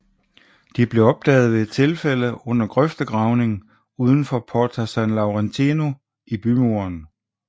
De blev opdaget ved et tilfælde under grøftegravning uden for Porta San Laurentino i bymuren